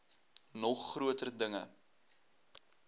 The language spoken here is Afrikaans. nog groter dinge